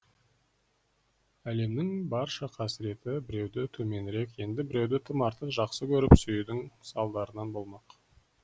әлемнің барша қасіреті біреуді төменірек енді біреуді тым артық жақсы көріп сүюдің салдарынан болмақ